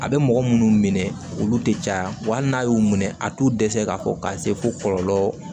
A bɛ mɔgɔ minnu minɛ olu tɛ caya wa hali n'a y'u minɛ a t'u dɛsɛ k'a fɔ ka se fo kɔlɔlɔ